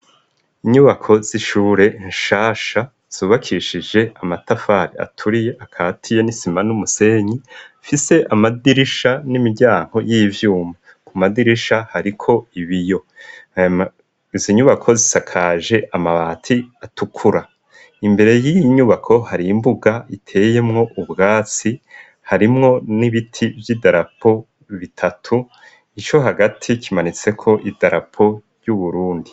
Inyubako z'ishure nshasha zubakishije amatafari aturiye akati ye n'isima n'umusenyi fise amadirisha n'imiryango y'ivyuma ku madirisha hariko ibiyo izinyubako zisakaje amabati atukura imbere y'inyubako hari imbuga iteyemwo ubwatsi harimwo n'ibiti vy'idarapo bitatu ico hagati kimanitse ko idarapo ry'Uburundi.